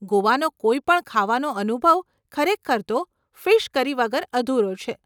ગોવાનો કોઈ પણ ખાવાનો અનુભવ ખરેખર તો, ફીશ કરી વગર અધુરો છે.